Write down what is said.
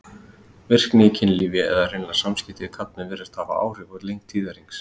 Virkni í kynlífi, eða hreinlega samskipti við karlmenn, virðast hafa áhrif á lengd tíðahrings.